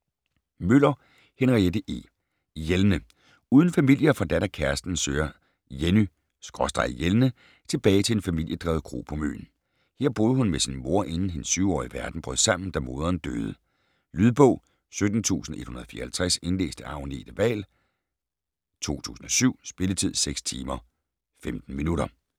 Møller, Henriette E.: Jelne Uden familie og forladt af kæresten søger Jenny/Jelne tilbage til en familiedrevet kro på Møn. Her boede hun med sin mor, inden hendes 7-årige verden brød sammen, da moderen døde. Lydbog 17154 Indlæst af Agnete Wahl, 2007. Spilletid: 6 timer, 15 minutter.